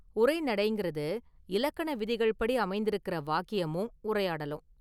உரைநடைங்கிறது, இலக்கண விதிகள் படி அமைந்திருக்கிற வாக்கியமும் உரையாடலும்.